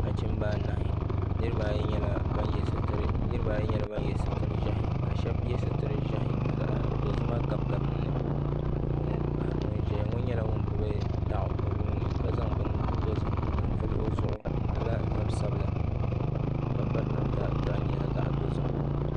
Nachimba anahi niriba ayi nyɛla ban ye sitiri ʒehi sheba ye sitiri ʒehi ka dozima gabigabi dinni ŋun ʒɛya ŋɔ nyɛla ŋun gbini daɣu o nuuni ka zaŋ bini dozim n zaŋ vili o zuɣu o malila zabsabila ka piri namda di nyɛla zaɣa dozim.